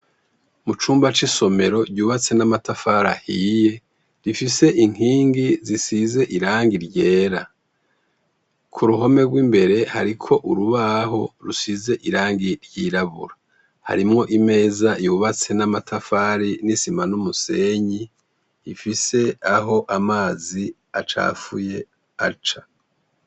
Mu cumba c'isomero ryubatse n'amatafari ahiye rifise inkingi zisize irangi ryera, ku ruhome rw'imbere hariko urubaho rusize irangi ryirabura, harimwo imeza yubatse n'amatafari n'isima n'umusenyi ifise aho amazi acafuye aca.